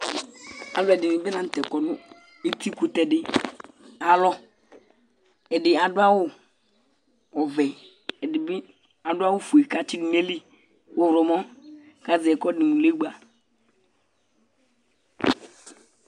alo ɛdini bi lantɛ kɔ no itsu kutɛ di ayi alɔ ɛdi adu awu ɔvɛ edi bi adu awu fue k'atsi do n'ayili ɔwlɔmɔ k'azɛ ɛkò ɛdi mo legba